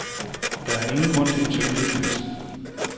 Der er ingen grund til en søvnløs nat.